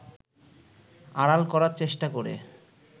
আড়াল করার চেষ্টা করে